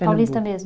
Paulista mesmo?